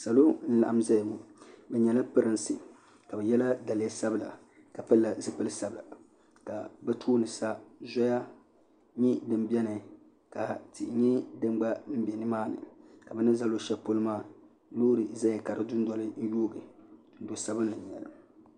Salo n-laɣim zaya ŋɔ bɛ nyɛla Pirinsi ka bɛ yela daliya sabila ka pilila zipili sabila ka bɛ tooni sa Zoya nyɛ din beni ka tihi nyɛ din gba be nimaani ka bɛ ni za luɣushɛli polo maa loori zaya ka di dundoli yoogi dundo'sabinli n-nyɛ li.